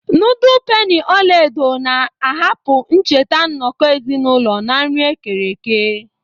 Nudul peni ọla edo na-ahapụ ncheta nnọkọ ezinụlọ na nri ekereke.